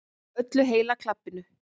Öllu heila klabbinu.